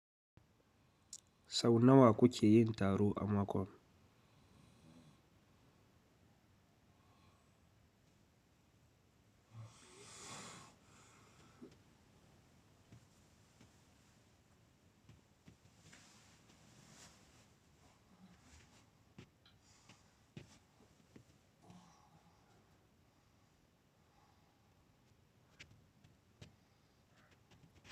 Sau na wa ku ke yin taru a makon?